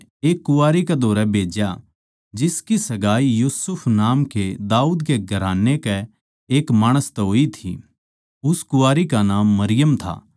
एक कुँवारी कै धोरै भेज्या जिसकी सगाई यूसुफ नाम कै दाऊद कै घराने कै एक माणस तै होई थी उस कुँवारी का नाम मरियम था